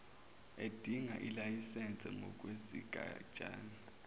edinga ilayisense ngokwesigatshana